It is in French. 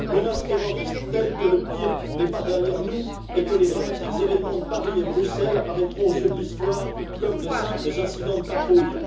menace terroriste telle que le pire n'est pas derrière nous et que les dramatiques événements de Paris et de Bruxelles apparaîtront aux yeux de l'histoire comme de simples incidents de patrouille